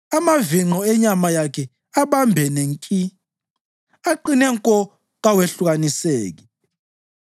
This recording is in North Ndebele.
Amavinqo enyama yakhe abambene nki; aqine nko kawehlukaniseki.